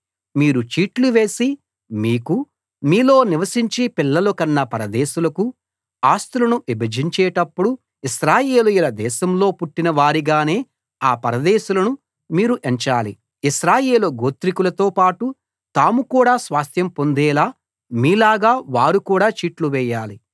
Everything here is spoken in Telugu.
మీరు చీట్లువేసి మీకూ మీలో నివసించి పిల్లలు కన్న పరదేశులకూ ఆస్తులను విభజించేటప్పుడు ఇశ్రాయేలీయుల దేశంలో పుట్టిన వారిగానే ఆ పరదేశులను మీరు ఎంచాలి ఇశ్రాయేలు గోత్రికులతో పాటు తాము కూడా స్వాస్థ్యం పొందేలా మీలాగా వారు కూడా చీట్లు వేయాలి